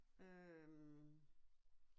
Øh